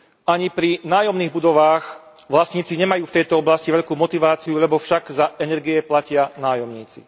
Ani pri nájomných budovách vlastníci nemajú v tejto oblasti veľkú motiváciu, lebo však za energie platia nájomníci.